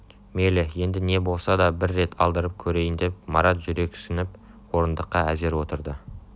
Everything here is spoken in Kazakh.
мейлі енді не болса да бір рет алдырып көрейіндеп марат жүрексініп орындыққа әзер отырды